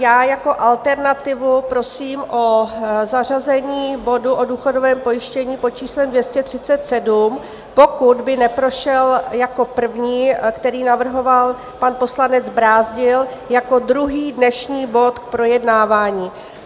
Já jako alternativu prosím o zařazení bodu o důchodovém pojištění pod číslem 237: pokud by neprošel jako první, který navrhoval pan poslanec Brázdil, jako druhý dnešní bod k projednávání.